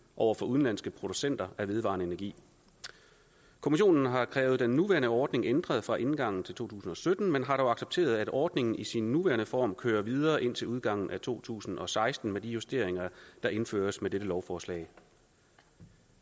over for udenlandske producenter af vedvarende energi kommissionen har krævet den nuværende ordning ændret fra indgangen til to tusind og sytten men har dog accepteret at ordningen i sin nuværende form kører videre indtil udgangen af to tusind og seksten med de justeringer der indføres med dette lovforslag